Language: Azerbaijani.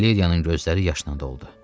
Valeriyanın gözləri yaşla doldu.